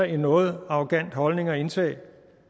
en noget arrogant holdning at indtage